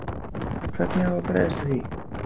Hvernig á að bregðast við því?